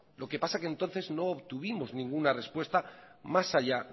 lo que pasa que entonces no obtuvimos ninguna respuesta más allá